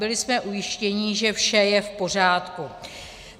Byli jsme ujištěni, že vše je v pořádku.